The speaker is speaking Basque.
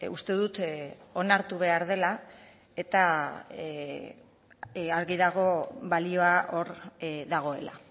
uste dut onartu behar dela eta argi dago balioa hor dagoela